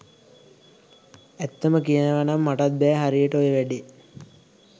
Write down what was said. ඇත්තම කියනවනං මටත් බෑ හරියට ඔය වැඩේ.